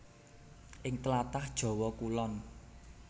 Ing tlatah Jawa Kulon